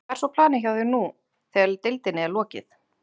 Hvað er svo planið hjá þér nú þegar deildinni er lokið?